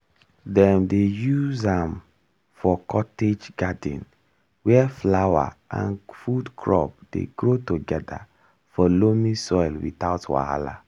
dem dey use am for cottage garden where flower and food crop dey grow together for loamy soil without wahala.